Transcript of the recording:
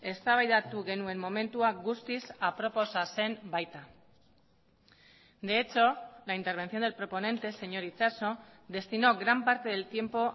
eztabaidatu genuen momentua guztiz aproposa zen baita de hecho la intervención del proponente señor itxaso destinó gran parte del tiempo